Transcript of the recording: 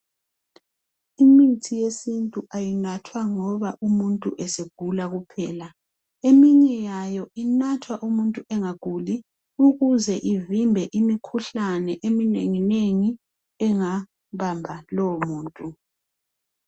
Imithi yesintu ayinathwa ngoba umuntu esegula kuphela eminye yayo inathwa umuntu engaguli ukuze ivimbe imikhuhlane eminenginengi engabamba lowo muntu.